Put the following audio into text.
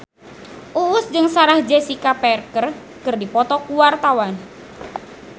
Uus jeung Sarah Jessica Parker keur dipoto ku wartawan